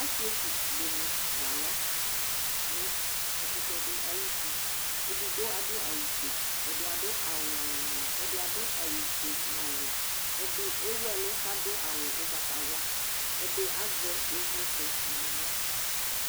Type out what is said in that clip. Asɩetsu ɖɩnɩ la ƴa nʋ ɛƙʋtɛ ɖɩ aƴʋ tiEɖigbo aɖʋ awʋ fue, ɛɖɩ aɖʋ awʋ ŋɔalɩŋɔalɩ, ɛɖɩ aɖʋ awʋ fue nʋ ɔvɛƐɖɩ ewuɛlʋ ƙ'aɖʋ awʋ ʋgbatawla, ɛɖɩ azɛ ɩvlɩtsɛ nʋ aɣla